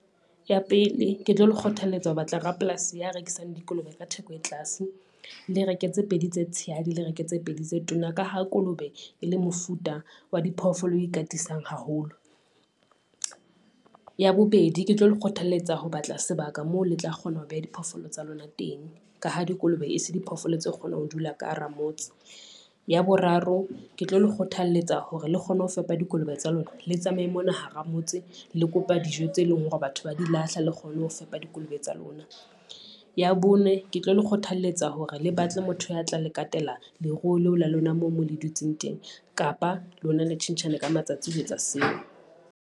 Ya pele, ke tlo le kgothalletsa ho batla rapolasi ya rekisang dikolobe ka theko e tlase, le reke tse pedi tse tshehadi, le reke tse pedi tse tona. Ka ha kolobe e le mofuta wa diphoofolo o e katisang haholo. Ya bobedi, ke tlo le kgothalletsa ho batla sebaka moo le tla kgona ho beha diphoofolo tsa lona teng, ka ha dikolobe e se diphoofolo tse kgonang ho dula ka hara motse. Ya boraro, ke tlo le kgothalletsa hore le kgone ho fepa dikolobe tsa lona, le tsamaye mona hara motse le kopa dijo tse leng hore batho ba di lahla le kgone ho fepa dikolobe tsa lona. Ya bone, ke tlo le kgothalletsa hore le batle motho ya tla la katela leruo leo la lona moo mo le dutseng teng, kapa lona le tjhentjhane ka matsatsi ho etsa seo.